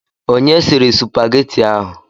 Onye sịrị supageti ahụ?